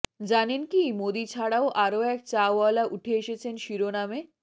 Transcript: জানেন কি মোদি ছাড়াও আরও এক চাওয়ালা উঠে এসেছেন শিরোনামে